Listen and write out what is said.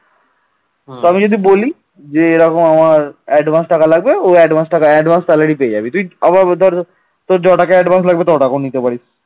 যে এরকম আমার advance টাকা লাগবে, ও advance টাকা advance salary পেয়ে যাবি তুই । আবার ওটার তোর টাকা advance লাগবে তুই টাকা নিতে পারিস